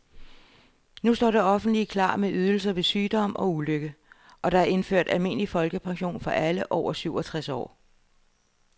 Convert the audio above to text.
Nu står det offentlige klar med ydelser ved sygdom og ulykke, og der er indført almindelig folkepension for alle over syvogtres år.